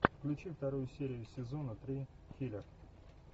включи вторую серию сезона три киллер